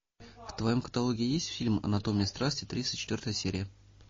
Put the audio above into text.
в твоем каталоге есть фильм анатомия страсти тридцать четвертая серия